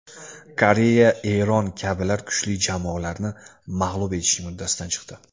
Koreya, Eron kabilar kuchli jamoalarni mag‘lub etishning uddasidan chiqdi.